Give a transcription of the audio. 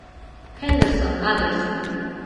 хендерсон адрес